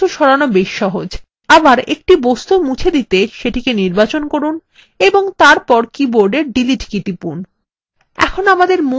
একটি বস্তু মুছে দিতে সেটিকে নির্বাচন করুন ও তারপর কীবোর্ডের ডিলিট কী টিপুন